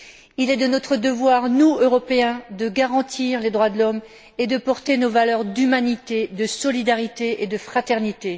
Il est de notre devoir, à nous, Européens, de garantir les droits de l'homme et de porter nos valeurs d'humanité, de solidarité et de fraternité.